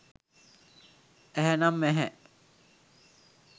ඇහැ නම් ඇහැ